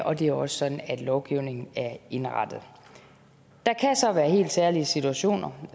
og det er også sådan lovgivningen er indrettet der kan så være helt særlige situationer